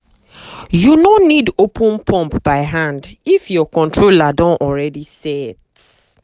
you no need open pump by hand if your controller don already set.